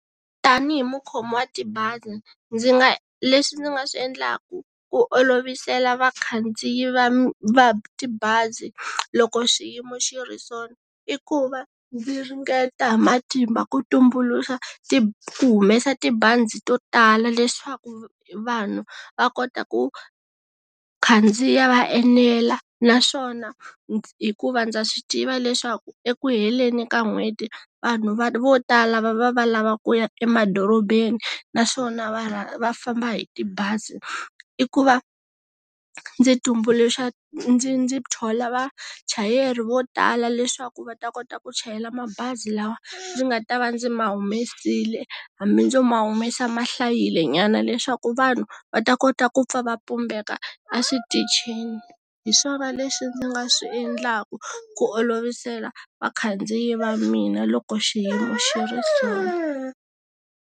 Tanihi mukhomi wa tibazi, ndzi nga leswi ndzi nga swi endlaka, ku olovisela vakhandziyi va va tibazi, loko xiyimo xi ri sona. I ku va, ndzi ringeta hi matimba ku tumbuluxa ku humesa tibazi to tala leswaku vanhu, va kota ku, khandziya va enela. Naswona, hikuva ndza swi tiva leswaku eku heleni ka n'hweti, vanhu vo tala va lava ku kuya emadorobeni, naswona va va famba hi tibazi. I ku va, ndzi tumbuluxa ndzi ndzi thola vachayeri vo tala leswaku va ta kota ku chayela mabazi lawa ndzi nga ta va ndzi ma humesile. Hambi ndzo ma humesa mahlayile nyana leswaku ku vanhu, va ta kota ku pfa va pumbeka, a switichini. Hi swona leswi ndzi nga swi endlaka, ku olovisela, vakhandziyi va mina loko xiyimo xi ri sona.